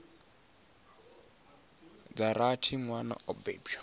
dza rathi nwana o bebwa